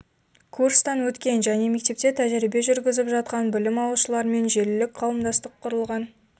курстан өткен және мектепте тәжірибе жүргізіп жатқан білім алушылармен желілік қауымдастық құрылған